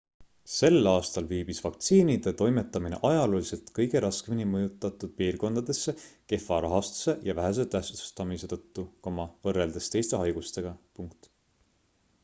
sel aastal viibis vaktsiinide toimetamine ajalooliselt kõige raskemini mõjutatud piirkondadesse kehva rahastuse ja vähese tähtsustamise tõttu võrreldes teiste haigustega